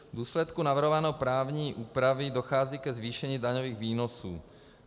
V důsledku navrhované právní úpravy dochází ke zvýšení daňových výnosů.